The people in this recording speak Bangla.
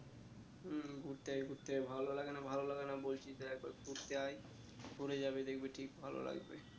হম ঘুরতে ঘুরতে ভালো লাগে না ভালো লাগে না বলছিস তো একবার ঘুরতে আয়ে ঘুরে যাবে দেখবে ঠিক ভালো লাগবে